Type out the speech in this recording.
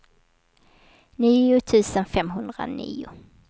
nio tusen femhundranio